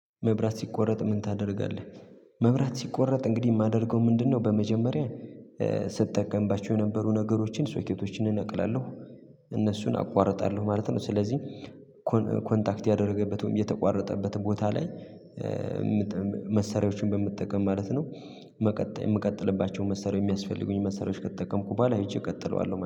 መብራት ሲቋረጥ ምን ታደርጋለህ? መብራት ሲቋረጥ እንግዲህ የማደርገው ምንድነው በመጀመሪያ ስጠቀምባቸው የነበሩ ነገሮችን ሶኬቶችን እነቅላለሁ እነሱን አቋርጣለሁ ማለት ነው ስለዚህ ኮንታክት ያደረገበትን፣ የተቋረጠበትን ቦታ ላይ መሰሪያዎችን በመጠቀም ማለት ነው መቀጠል የምቀጥልባቸውን መሰሪያ የሚያስፈልጉኝ መሰሪያዎች ከተጠቀምኩ በኋላ አይቼ እቀጥለዋለሁ።